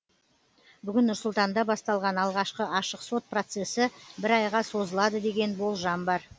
бүгін нұрсұлтанда басталған алғашқы ашық сот процесі бір айға созылады деген болжам бар